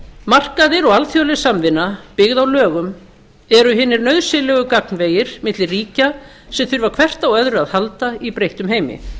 markaðir og alþjóðleg samvinna byggð á lögum eru hinir nauðsynlegu gagnvegir milli ríkja sem þurfa hvert á öðru að halda í breyttum heimi